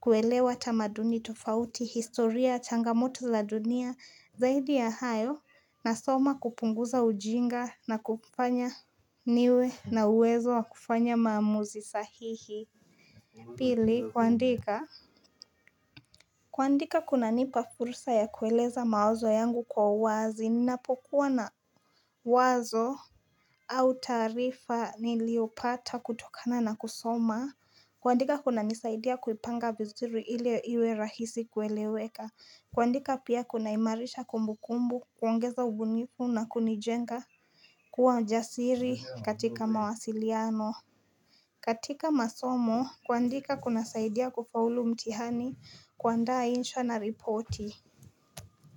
kuelewa tamaduni tofauti, historia, changamoto za dunia, zaidi ya hayo, nasoma kupunguza ujinga na kufanya niwe na uwezo wa kufanya maamuzi sahihi. Pili, kuandika kuandika kunanipa fursa ya kueleza mawazo yangu kwa wazi, ninapokuwa na wazo au taarifa niliopata kutokana na kusoma kuandika kuna nisaidia kuipanga vizuri ili iwe rahisi kueleweka kuandika pia kunahimarisha kumbukumbu kuongeza ubunifu na kunijenga kuwa jasiri katika mawasiliano katika masomo kuandika kuna saidia kufaulu mtihani kuandaa, insha na ripoti.